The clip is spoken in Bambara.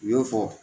U y'o fɔ